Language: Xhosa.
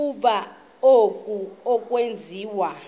ukuba oku akwenziwa